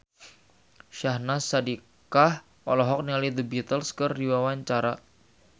Syahnaz Sadiqah olohok ningali The Beatles keur diwawancara